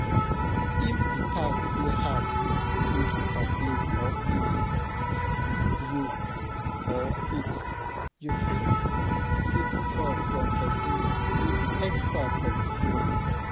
If di tax dey hard you to calculate or fix, you or fix, you fit seek help from person wey be expert for di field